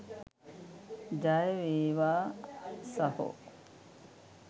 ජයවේවා සහො.